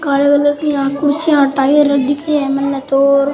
काले कलर की यहाँ कुर्सियां और टायर लगा दिख रा है मैंने तो।